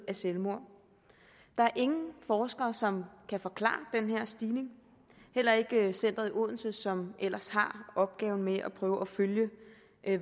selvmord der er ingen forskere som kan forklare den her stigning heller ikke centeret i odense som ellers har opgaven med at prøve at følge